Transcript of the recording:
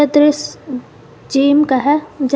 दृश्य ई जिम का हैं जहा --